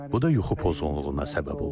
Bu da yuxu pozğunluğuna səbəb olur.